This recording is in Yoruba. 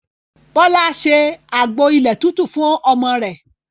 Bọlá ṣe àgbo ilẹ̀ tútù fún ọmọ rẹ̀